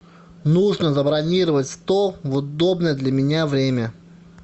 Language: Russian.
нужно забронировать стол в удобное для меня время